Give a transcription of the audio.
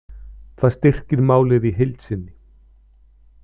Það styrkir málið í heild sinni